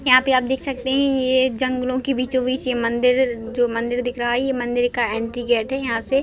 यहाँ पे आप देख सकते है ये जंगलो के बीचो-बीच ये मंदिर जो मंदिर दिख रहा है ये मंदिर का एंट्री गेट है यहाँ से --